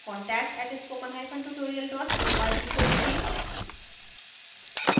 contact @spokentutorial org को लिखें